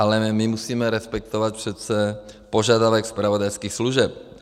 Ale my musíme respektovat přece požadavek zpravodajských služeb.